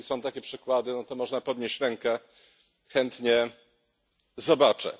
Jeżeli są takie przykłady, no to można podnieść rękę, chętnie zobaczę.